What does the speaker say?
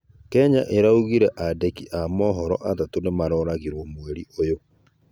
Kenya maraũgĩre andĩki a mohoro atatũ nĩmaroragĩrwo mweri ũyũ